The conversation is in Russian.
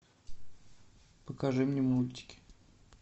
покажи мне мультики